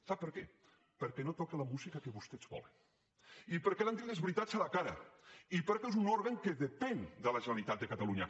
sap per què perquè no toca la música que vostès volen i perquè li han dit les veritats a la cara i perquè és un òrgan que depèn de la generalitat de catalunya